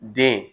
Den